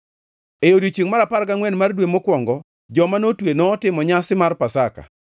E odiechiengʼ mar apar gangʼwen mar dwe mokwongo, joma notwe notimo nyasi mar Pasaka.